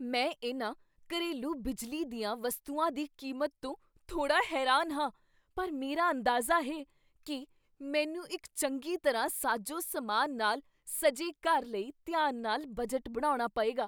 ਮੈਂ ਇਹਨਾਂ ਘਰੇਲੂ ਬਿਜਲੀ ਦੀਆਂ ਵਸਤੂਆਂ ਦੀ ਕੀਮਤ ਤੋਂ ਥੋੜ੍ਹਾ ਹੈਰਾਨ ਹਾਂ, ਪਰ ਮੇਰਾ ਅੰਦਾਜ਼ਾ ਹੈ ਕੀ ਮੈਨੂੰ ਇੱਕ ਚੰਗੀ ਤਰ੍ਹਾਂ ਸਾਜੋ ਸਮਾਨ ਨਾਲ ਸਜੇ ਘਰ ਲਈ ਧਿਆਨ ਨਾਲ ਬਜਟ ਬਣਾਉਣਾ ਪਏਗਾ।